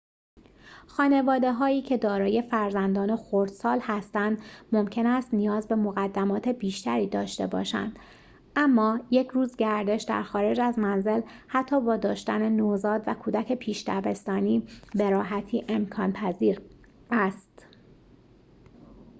خانواده‌هایی که دارای فرزندان خردسال هستند ممکن است نیاز به مقدمات بیشتری داشته باشند اما یک روز گردش در خارج از منزل حتی با داشتن نوزاد و کودک پیش دبستانی به راحتی امکان‌پذیر است